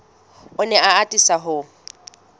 o ne a atisa ho